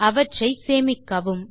அவற்றை சேமிக்கவும்